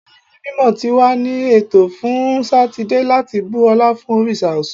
Ayẹyẹ mimọ ti wa ni eto fun Satidee lati bu ọla fun oriṣa Ọṣun